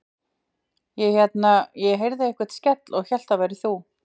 Ég hérna. ég heyrði einhvern skell og hélt að það værir þú.